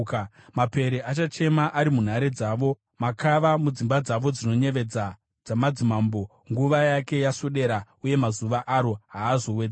Mapere achachema ari munhare dzavo, makava mudzimba dzavo dzinoyevedza dzamadzimambo. Nguva yake yaswedera, uye mazuva aro haazowedzerwi.